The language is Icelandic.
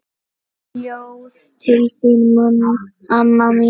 Ljóð til þín amma mín.